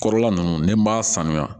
Kɔrɔla ninnu ni n b'a sanuya